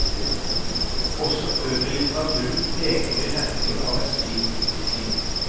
Også øvrig litteratur peker i retning av en slik utvikling.